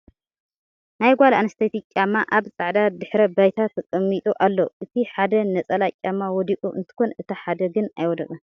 ናይ ጋል ኣንስተይቲ ጫማ ኣብ ፃዕዳ ድሕረ ባይታ ተቀሚጡ ኣሎ ። እቲ ሓደ ነፀላ ጫማ ወዲቁ እንትኮን እቲ ሓደ ግን ኣይወደቀን ።